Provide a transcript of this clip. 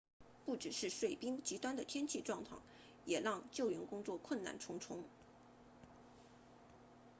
不只是碎冰极端的天气状况也让救援工作困难重重